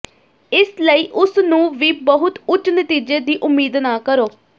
ਇਸ ਲਈ ਉਸ ਨੂੰ ਵੀ ਬਹੁਤ ਉੱਚ ਨਤੀਜੇ ਦੀ ਉਮੀਦ ਨਾ ਕਰੋ